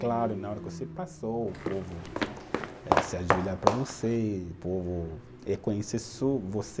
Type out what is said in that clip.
Claro, na hora que você passou, o povo eh se ajoelha para você, o povo reconhece só você.